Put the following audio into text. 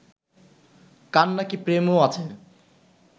কার নাকি প্রেমও আছে